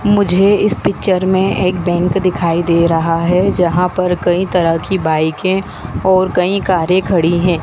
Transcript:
मुझे इस पिक्चर में एक बैंक दिखाई दे रहा है जहां पर कई तरह की बाइकें और कई कारें खड़ी हैं।